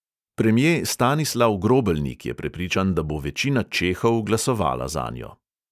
Premje stanislav grobelnik je prepričan, da bo večina čehov glasovala zanjo.